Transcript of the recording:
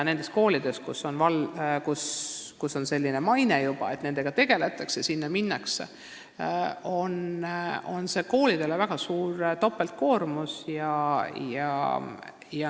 Nendesse koolidesse, kellel on juba selline maine, et nende lastega tegeldakse, ka minnakse, aga see on koolidele tegelikult topeltkoormus.